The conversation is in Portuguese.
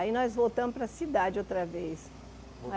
Aí nós voltamos para a cidade outra vez.